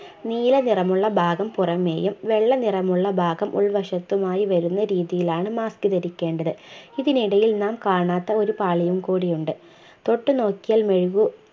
നീല നിറമുള്ള ഭാഗം പുറമെയും വെള്ള നിറമുള്ള ഭാഗം ഉൾവശത്തുമായി വരുന്ന രീതിയിലാണ് mask ധരിക്കേണ്ടത് ഇതിനിടയിൽ നാം കാണാത്ത ഒരു പാളിയും കൂടി ഉണ്ട് തൊട്ടു നോക്കിയാൽ മെഴുകു